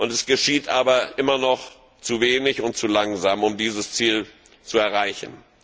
es geschieht aber immer noch zu wenig und zu langsam, um dieses Ziel zu erreichen.